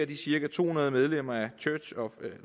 de cirka to hundrede medlemmer af church of